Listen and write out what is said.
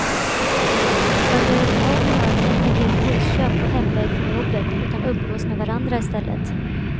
Man gör inte av med några pengar vid impulsköp på hemväg från jobbet utan umgås med varandra istället.